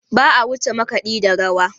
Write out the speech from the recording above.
Ba a wuce makaɗi da rawa.